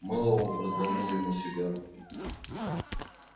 мэллоу предложил ему сигару